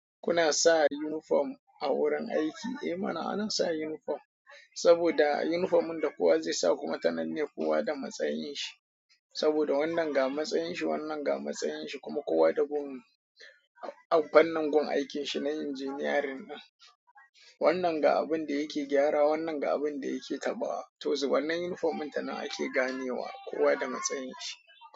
Kuna sa unifom a wurin aiki? Eh mana ana sa unifom, saboda unifom in da kowa zai sa kuma ta nan ne kowa da matsayin shi. Saboda wannan ga matsayin shi, wannan ga matsayin shi kuma kowa da gum- fannin gun aikin shi na injiniyarin din. Wannan ga abin da yake gyara, wannan ga abin da yake taɓawa. To zu wannan unifom inta nan ake ganewa kowa da matsayin shi.